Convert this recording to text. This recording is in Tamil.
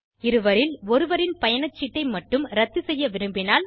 இருவரில் ஒருவரின் பயணச்சீட்டை மட்டும் இரத்து செய்ய விரும்பினால்